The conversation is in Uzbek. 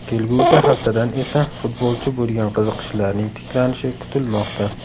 Kelgusi haftadan esa futbolchi bo‘lgan qiziqishlarning tiklanishi kutilmoqda.